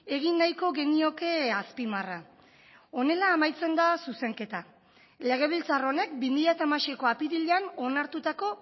egin nahiko genioke azpimarra honela amaitzen da zuzenketa legebiltzar honek bi mila hamaseiko apirilean onartutako